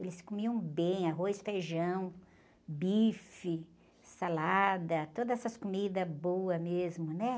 Eles comiam bem arroz, feijão, bife, salada, todas essas comidas boas mesmo, né?\